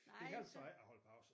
Det hjalp så ikke at holde pause